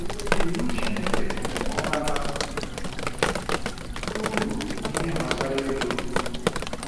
Iwu Chineke ọ bara uru n’ihe gbasara ego?